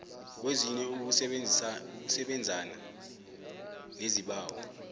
kwezine ukusebenzana nesibawo